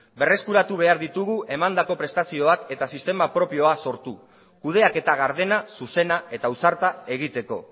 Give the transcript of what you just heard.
berreskuratu behar ditugu emandako prestazioak eta sistema propioa sortu kudeaketa gardena zuzena eta ausarta egiteko